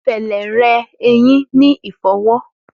Fẹlẹ rẹ eyin ni ifọwọ.